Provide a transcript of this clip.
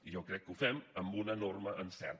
i jo crec que ho fem amb un enorme encert